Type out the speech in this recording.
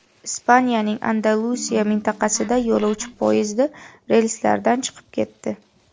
Ispaniyaning Andalusiya mintaqasida yo‘lovchi poyezdi relslardan chiqib ketdi.